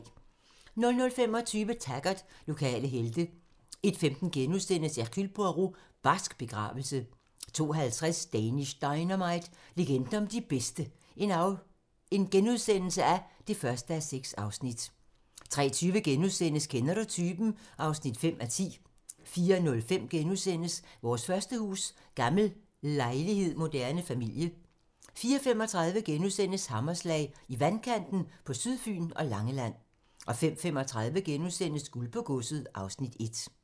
00:25: Taggart: Lokale helte 01:15: Hercule Poirot: Barsk begravelse * 02:50: Danish Dynamite - legenden om de bedste (1:6)* 03:20: Kender du typen? (5:10)* 04:05: Vores første hus: Gammel lejlighed moderne familie (Afs. 4)* 04:35: Hammerslag - I vandkanten på Sydfyn og Langeland * 05:35: Guld på godset (Afs. 1)*